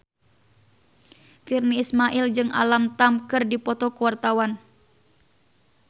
Virnie Ismail jeung Alam Tam keur dipoto ku wartawan